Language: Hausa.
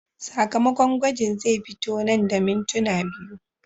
Sakamakon gwajin zai fito nan da mintuna biyu.